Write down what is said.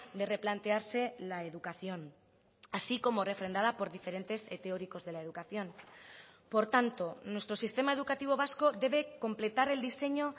de replantearse la educación así como refrendada por diferentes teóricos de la educación por tanto nuestro sistema educativo vasco debe completar el diseño